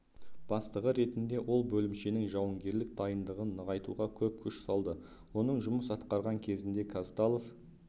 бастығы ретінде ол бөлімшенің жауынгерлік дайындығын нығайтуға көп күш салды оның жұмыс атқарған кезінде казталов